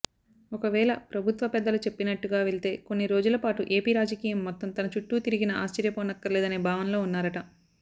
ఒకవేళ ప్రభుత్వ పెద్దలు చెప్పినట్టుగా వెళ్తే కొన్నిరోజులపాటు ఏపీ రాజకీయం మొత్తం తన చుట్టూ తిరిగినా ఆశ్చర్యపోనక్కర్లేదనే భావనలో ఉన్నారట